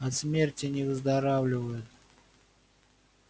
от смерти не выздоравливают